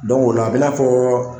ola a bi n'a fɔ